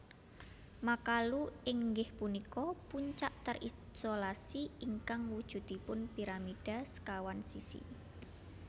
Makalu inggih punika puncak terisolasi ingkang wujudipun piramida sekawan sisi